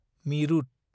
मिरुत